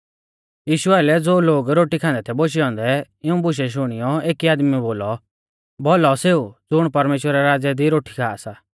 यीशु आइलै ज़ो लोग रोटी खान्दै थै बोशै औन्दै इऊं बुशै शुणियौ एकी आदमीऐ बोलौ भौलौ सेऊ ज़ुण परमेश्‍वरा रै राज़्य दी रोटी खा सा